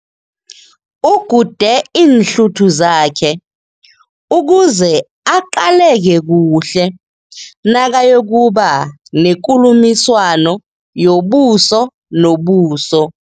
Ugude iinhluthu zakhe ukuze aqaleke kuhle nakayokuba nekulumiswano yobuso nobuso.